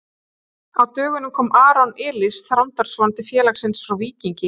Á dögunum kom Aron Elís Þrándarson til félagsins frá Víkingi.